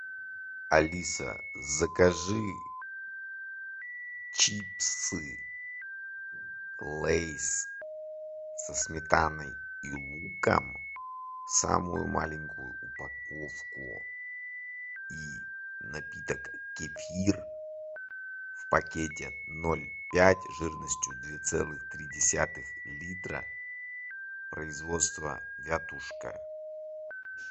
алиса закажи чипсы лейс со сметаной и луком самую маленькую упаковку и напиток кефир в пакете ноль пять жирностью две целых три десятых литра производство вятушка